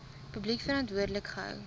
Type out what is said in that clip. publiek verantwoordelik gehou